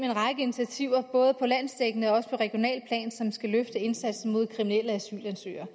en række initiativer både på landsdækkende og regionalt plan som skal løfte indsatsen mod kriminelle asylansøgere